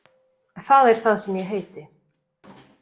Það er það sem ég heiti.